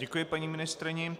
Děkuji paní ministryni.